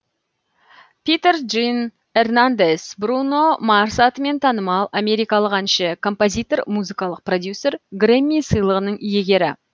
питер джин эрнандес бруно марс атымен танымал америкалық әнші композитор музыкалық продюсер грэмми сыйлығынын иегері